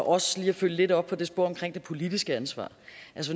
også lige at følge lidt op på det spor omkring det politiske ansvar